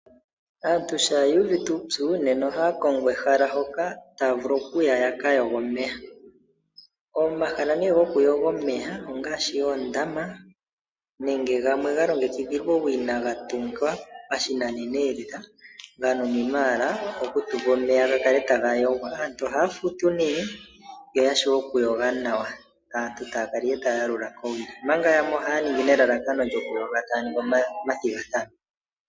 Aantu shampa yu uvite uupyu ohaya kongo ehala hoka taya vulu okuya ya ka yoge omeya. Omahala gokuyoga omeya ongaashi oondama nenge gamwe ga longekidhilwa owina ga tungwa pashinanena lela ga nuninwa owala okutulwa omeya ga kale taga yogwa. Aantu ohaya futu nduno yo ya vule okuyoga nawa, aantu taya kala ihe taya yalula kowili, omanga yamwe ohaya ningi nelalakano lyokuyoga taya ningi omathigathano.